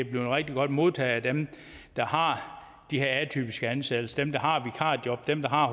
blevet rigtig godt modtaget af dem der har de her atypiske ansættelser dem der har vikarjob dem der har